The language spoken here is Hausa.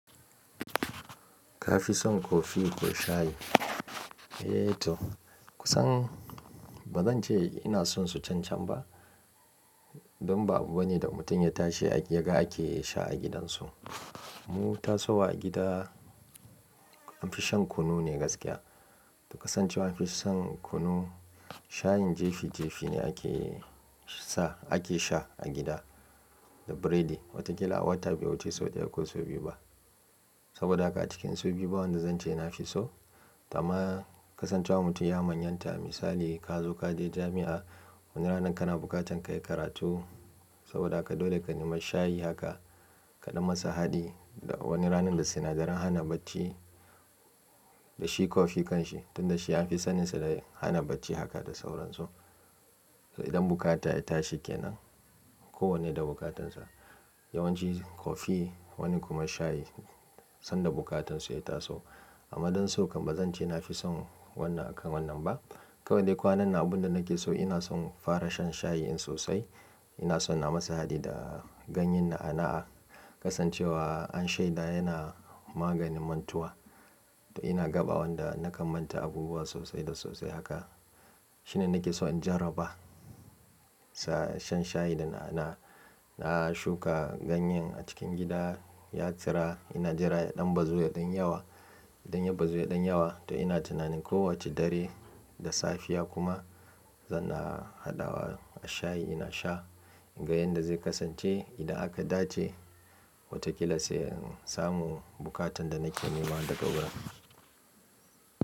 Ka fi son kofi ko shayi? Eee to kusan bazan ce ina sonshi can can ba. Don ba abu bane da mutum ya tashi ya ga ake sha a gidansu. Mu tasowa a gida an fi shan kunu ne gaskiya. To kasancewar an fi shan kunu, shayin jefi jefi ne ake sa ake sha a gida da biredi. Wataƙila a wata bai wuce sau ɗaya ko sau biyu ba. Saboda haka a cikin sau biyu ba wanda zan ce nafi so. To amma kasancewa mutum ya manyanta. Misali ka zo ka je jami'a wani ranar kana bukatan kayi karatu. Saboda haka dole ka nema shayi haka kaɗan masa haɗi da wani ranar da sinadaran hana bacci da shi kofi kan shi. Tunda shi anfi saninsa da hana bacci haka da sauransu. Idan bukata ya tashi kenan ko wanne da bukatansa yawanci kofi, wani kuma shayi sanda bukatansu ya taso. Amma don so kam bazan ce nafi son wannan akan wannan ba. Kawai dai kwanan nan abunda nake so ina son fara shan shayi in sosai. Ina son na masa haɗi da ganyen na'a na'a. Kasancewa an sheda yana maganin mantuwa. To ina gaɓa wanda na kan manta abubuwa sosai da sosai haka. Shine nake so in jarraba. Sa shan shayi da na'a na'a. Na shuka ganyen a cikin gida ya tsira. Ina jira ya ɗan bazu ya ɗanyi yawa. Dan ya bazu ya ɗanyi yawa. To ina tunanin ko wace dare da safiya kuma zan na haɗawa a shayi ina sha in ga yanda zai kasance idan aka dace. Wataƙila sai in samu buƙatan da nake nema daga wurin.